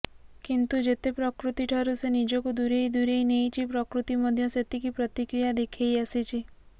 କିନ୍ତୁ ଯେତେ ପ୍ରକୃତିଠାରୁ ସେ ନିଜକୁ ଦୂରେଇ ଦୂରେଇ ନେଇଛି ପ୍ରକୃତି ମଧ୍ୟ ସେତିକି ପ୍ରତିକ୍ରିୟା ଦେଖେଇ ଆସିଛି